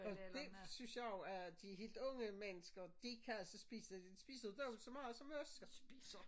Og dét synes jeg jo er de helt unge mennesker de kan altså spise de spiser jo dobbelt så meget som os spiser